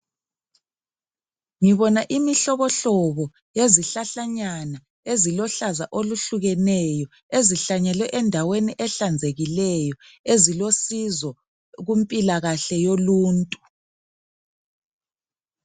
Ngibona imihlobo hlobo yezihlahlanyana eziluhlaza oluhlukeneyo ezihlanyelwe endaweni ehlanzekileyo ezilosizo kumpilakahle yoluntu.